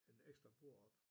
En ekstra bord op